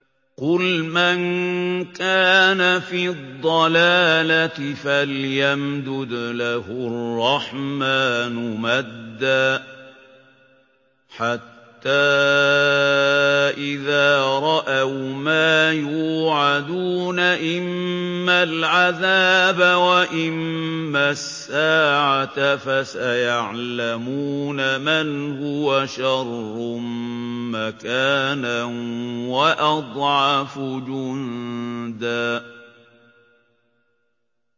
قُلْ مَن كَانَ فِي الضَّلَالَةِ فَلْيَمْدُدْ لَهُ الرَّحْمَٰنُ مَدًّا ۚ حَتَّىٰ إِذَا رَأَوْا مَا يُوعَدُونَ إِمَّا الْعَذَابَ وَإِمَّا السَّاعَةَ فَسَيَعْلَمُونَ مَنْ هُوَ شَرٌّ مَّكَانًا وَأَضْعَفُ جُندًا